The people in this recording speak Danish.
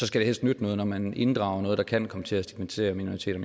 skal helst nytte noget når man inddrager noget der kan komme til at stigmatisere minoriteter